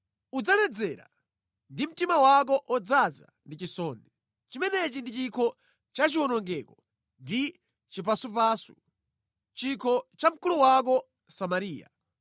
Udzaledzera ndipo mtima wako udzadzaza ndi chisoni. Chimenechi ndi chikho chachiwonongeko ndi chipasupasu, chikho cha mkulu wako Samariya.